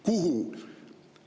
Kuhu?